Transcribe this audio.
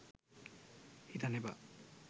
හිතන්න එපා